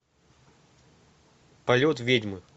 полет ведьмы